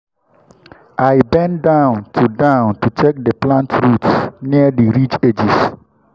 i bend down to down to check plant roots near the ridge edges.